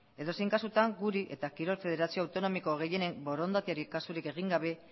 edozein kasutan guri eta kirol federazio autonomiko gehienen borondateari kasurik egin gabe